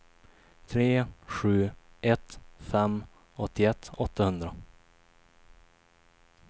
tre sju ett fem åttioett åttahundra